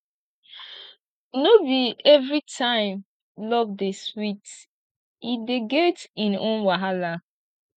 no be everytime love dey sweet e dey get im own wahala